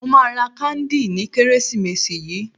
Mo máa ra káńdì ní Kérésìmesì yìí.